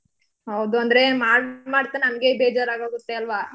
ಹೌದು ಅಂದ್ರೆ ಮಾಡ್ ಮಾಡ್ತಾ ನಮ್ಗೇ ಬೇಜಾರ್ ಆಗೋಗತ್ತೆ ಅಲ್ವಾ?